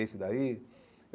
Esse daí?